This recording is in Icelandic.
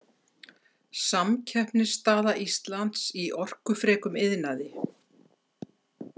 „Samkeppnisstaða Íslands í orkufrekum iðnaði“.